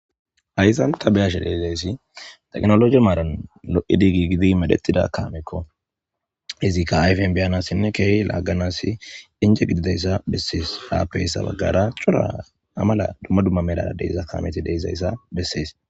Haysan ta be'ashe dizaysi tekinoloje maaran lo'idi giigidi medhetida kaameko izika ayfen be'anasine keehi laaganasi ene gididaysa beses haraysa bagara cora amela duma duma kaameti de'izaysa beses.